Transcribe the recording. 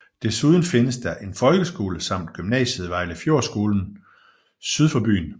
Desuden findes der en folkeskole samt gymnasiet Vejlefjordskolen syd for byen